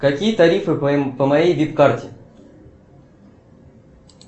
какие тарифы по моей вип карте